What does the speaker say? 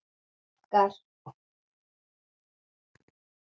Spurningin í heild sinni hljóðar svo: